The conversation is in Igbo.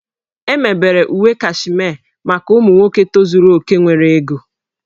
E mebere uwe Kashmee maka ụmụ nwoke tozuru oke nwere ego